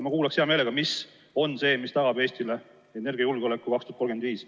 Ma kuulaks hea meelega, mis on see, mis tagab Eestile energiajulgeoleku aastaks 2035.